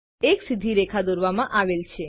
એક સીધી રેખા દોરવામાં આવેલ છે